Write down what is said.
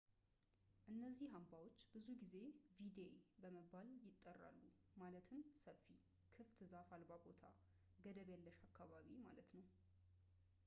እነዚህ አምባዎች ብዙውን ጊዜ ቪዴ በመባል ይጠራሉ ማለትም ሰፊ ክፍት ዛፍ አልባ ቦታ ገደብ የለሽ አካባቢ ማለት ነው